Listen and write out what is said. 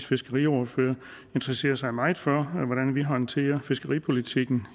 fiskeriordfører interesserer sig meget for hvordan vi håndterer fiskeripolitikken